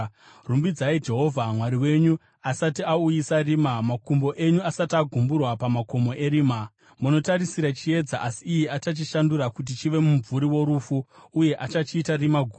Rumbidzai Jehovha Mwari wenyu asati auyisa rima, makumbo enyu asati agumburwa pamakomo erima. Munotarisira chiedza, asi iye achachishandura kuti chive mumvuri worufu, uye achachiita rima guru.